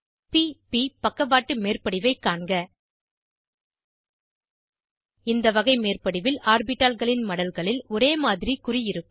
p ப் பக்கவாட்டு மேற்படிவைக் காண்க இந்த வகை மேற்படிவில் ஆர்பிட்டால்களின் மடல்களில் ஒரேமாதிரி குறி இருக்கும்